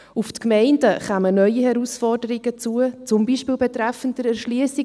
Auf die Gemeinden kämen neue Herausforderungen zu, zum Beispiel betreffend Erschliessung.